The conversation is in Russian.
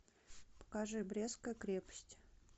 покажи брестская крепость